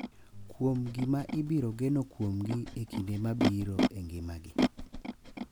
kuom gima ibiro geno kuomgi e kinde mabiro e ngimagi.